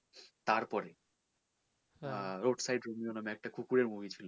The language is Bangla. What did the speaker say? তারপরে road side Romio নামে একটা কুকুরের movie ছিল